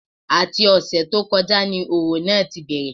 Àti ọ̀sẹ̀ tó kọjá ni òrò náà tí bẹ̀rẹ̀